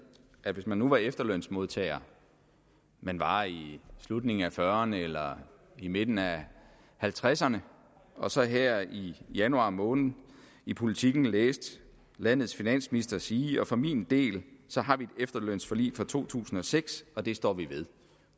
at hvis man nu var efterlønsmodtager man var i slutningen af fyrrerne eller i midten af halvtredserne og så her i januar måned i politiken læste landets finansminister sige for min del har vi et efterlønsforlig fra to tusind og seks og det står vi ved